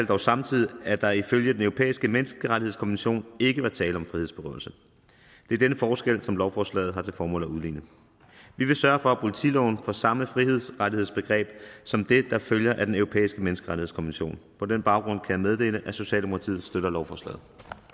dog samtidig at der ifølge den europæiske menneskerettighedskonvention ikke var tale om frihedsberøvelse det er denne forskel som lovforslaget har til formål at udligne vi vil sørge for at politiloven får samme frihedsrettighedsbegreb som det der følger af den europæiske menneskerettighedskonvention på den baggrund kan jeg meddele at socialdemokratiet støtter lovforslaget